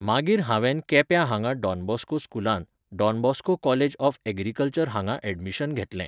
मागीर हांवेंन केप्यां हांगां डॉन बॉस्को स्कुलांत, Don Bosco college of agriculture हांगां एडमीशन घेतलें